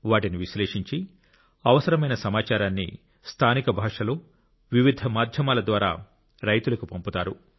వాటిని విశ్లేషించి అవసరమైన సమాచారాన్ని స్థానిక భాషలో వివిధ మాధ్యమాల ద్వారా రైతులకు పంపుతారు